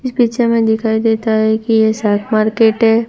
इस पिक्चर में दिखाई देता है कि ये मार्केट है।